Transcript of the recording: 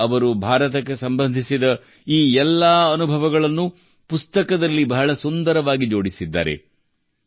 ಈಗ ಅವರು ಭಾರತಕ್ಕೆ ಸಂಬಂಧಿಸಿದ ಈ ಎಲ್ಲ ಅನುಭವಗಳನ್ನು ಪುಸ್ತಕದಲ್ಲಿ ಬಹಳ ಸುಂದರವಾಗಿ ಜೋಡಿಸಿದ್ದಾರೆ